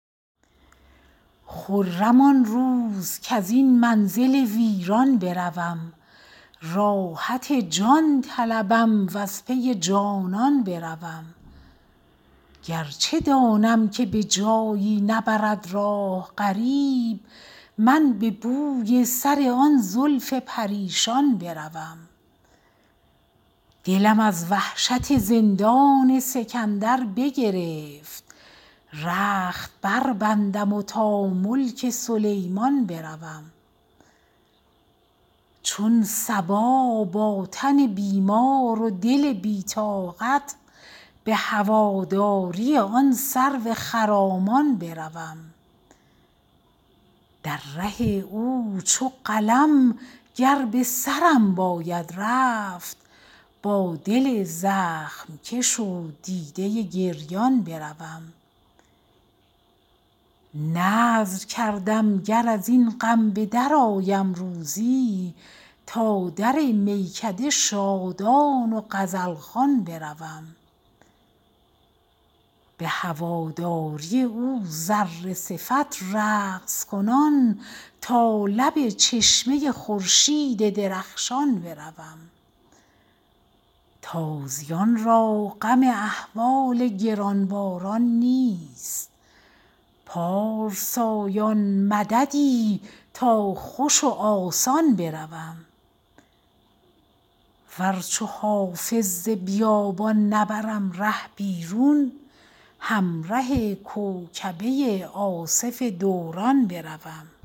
خرم آن روز کز این منزل ویران بروم راحت جان طلبم و از پی جانان بروم گر چه دانم که به جایی نبرد راه غریب من به بوی سر آن زلف پریشان بروم دلم از وحشت زندان سکندر بگرفت رخت بربندم و تا ملک سلیمان بروم چون صبا با تن بیمار و دل بی طاقت به هواداری آن سرو خرامان بروم در ره او چو قلم گر به سرم باید رفت با دل زخم کش و دیده گریان بروم نذر کردم گر از این غم به درآیم روزی تا در میکده شادان و غزل خوان بروم به هواداری او ذره صفت رقص کنان تا لب چشمه خورشید درخشان بروم تازیان را غم احوال گران باران نیست پارسایان مددی تا خوش و آسان بروم ور چو حافظ ز بیابان نبرم ره بیرون همره کوکبه آصف دوران بروم